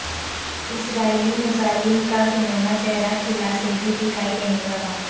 اسرائیلی مظالم کا گھناونا چہرہ خلا سے بھی دکھائی دینے لگا